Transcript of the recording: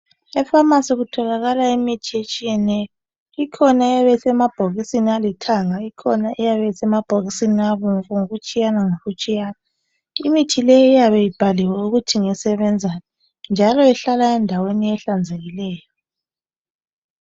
Ephamarcy kutholakala imithi etshiyeneyo. Ikhona eyabe esemabhokisini alithanga, Ikhona eyabe isemabhokisini abomvu ngokutshiyana ngokutshiyana. Imithi le iyabe ibhaliwe ukuthi ngesebenzani .Njalo ihlala endaweni ehlanzekileyo.